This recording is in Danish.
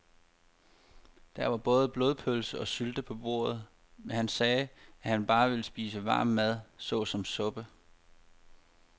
Der var både blodpølse og sylte på bordet, men han sagde, at han bare ville spise varm mad såsom suppe.